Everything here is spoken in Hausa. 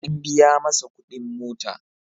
An biya masa kuɗin mota.